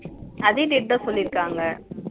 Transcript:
அதே date தா சொல்லிருக்காங்க